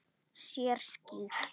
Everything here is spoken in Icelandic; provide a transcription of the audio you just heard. Sér skýrt.